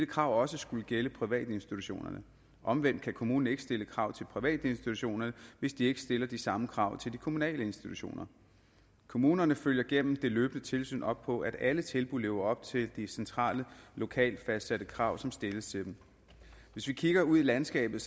krav også skulle gælde privatinstitutionerne omvendt kan kommunen ikke stille krav til privatinstitutionerne hvis de ikke stiller de samme krav til de kommunale institutioner kommunerne følger gennem det løbende tilsyn op på at alle tilbud lever op til de centralt og lokalt fastsatte krav som stilles til dem hvis vi kigger ud i landskabet